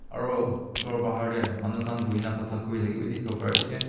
aro ghor bahar tae manu khan buhina khota kurithaka bi dikhiwo pariase.